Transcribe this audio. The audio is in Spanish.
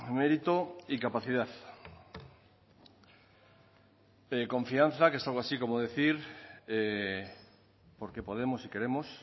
mérito y capacidad confianza que es algo así como decir porque podemos y queremos